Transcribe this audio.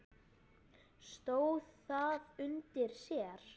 Stóð það undir sér?